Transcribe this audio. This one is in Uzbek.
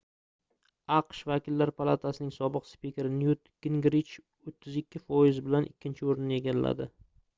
aqsh vakillar palatasining sobiq spikeri nyut gingrich 32 foiz bilan ikkinchi oʻrinni egalladi